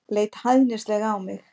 Leit hæðnislega á mig.